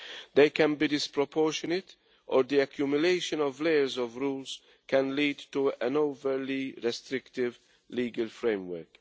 They can be disproportionate or the accumulation of layers of rules can lead to an overly restrictive legal framework.